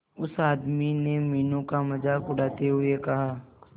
उस आदमी ने मीनू का मजाक उड़ाते हुए कहा